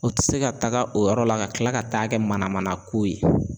O ti se ka taga o yɔrɔ la ka tila ka taa kɛ manamanako ye.